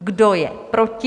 Kdo je proti?